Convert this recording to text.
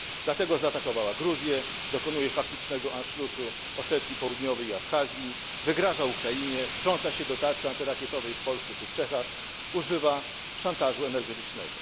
Dlatego zaatakowała Gruzję, dokonuje faktycznego Anschlussu Osetii Południowej i Abchazji, wygraża Ukrainie, wtrąca się do tarczy antyrakietowej w Polsce czy w Czechach, używa szantażu energetycznego.